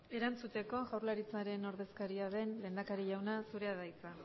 erantzuteko jaurlaritzaren ordezkaria den lehendakari jauna zurea da hitza